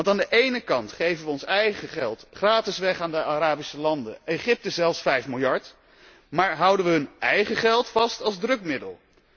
Want aan de ene kant geven wij ons eigen geld gratis weg aan de Arabische landen, aan Egypte zelfs 5 miljard, maar houden wij hun eigen geld vast als drukmiddel.